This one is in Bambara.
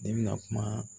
Ne bɛna kuma